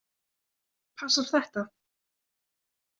Passar þetta?